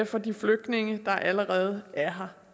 for de flygtninge der allerede er